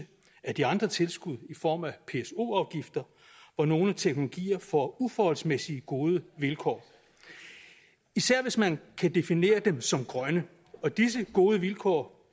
af de andre tilskud i form af pso afgifter hvor nogle teknologier får uforholdsmæssig gode vilkår især hvis man kan definere dem som grønne og disse gode vilkår